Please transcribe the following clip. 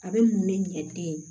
A bɛ mun ne ɲɛ den ye